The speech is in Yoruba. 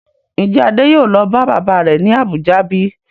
Ń jẹ́ Adé yìí ó lọ bá bàbá rẹ̀ ni Abuja bíi?